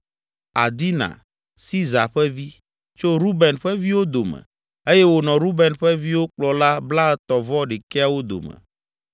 Adina, Siza ƒe vi, tso Ruben ƒe viwo dome eye wònɔ Ruben ƒe viwo kplɔla blaetɔ̃-vɔ-ɖekɛawo dome;